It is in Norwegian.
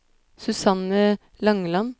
Susanne Langeland